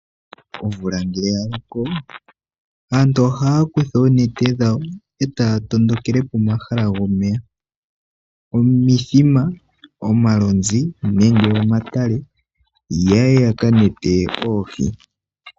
Omvula ngele ya loko, aantu ohaya kutha oonete dhawo e taya tondokele komahala gomeya, omithima, omalonzi nenge omatale, ya ye yaka nete oohi.